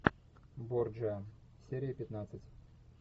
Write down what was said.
борджиа серия пятнадцать